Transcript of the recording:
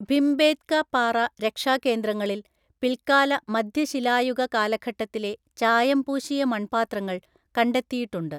ഭിംബേത്ക പാറ രക്ഷാകേന്ദ്രങ്ങളില്‍ പിൽക്കാല മധ്യശിലായുഗ കാലഘട്ടത്തിലെ ചായം പൂശിയ മൺപാത്രങ്ങൾ കണ്ടെത്തിയിട്ടുണ്ട്.